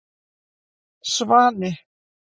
Svani